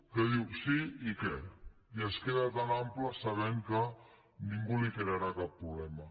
que diu sí i què i es queda tan ample sabent que ningú li crearà cap problema